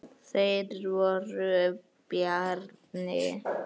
Þeir voru Bjarni